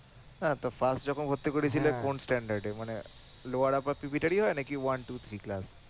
হ্যাঁ তো যখন ভর্তি করিয়েছিলে কোন এ মানে হয় নাকি